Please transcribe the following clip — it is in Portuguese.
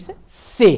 Isso é ser.